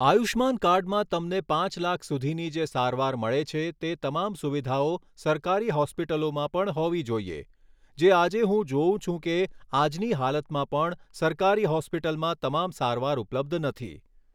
આયુષ્માન કાર્ડમાં તમને પાંચ લાખ સુધીની જે સારવાર મળે છે તે તમામ સુવિધાઓ સરકારી હોસ્પિટલોમાં પણ હોવી જોઈએ જે આજે હું જોઉં છે કે આજની હાલતમાં પણ સરકારી હોસ્પિટલમાં તમામ સારવાર ઉપલબ્ધ નથી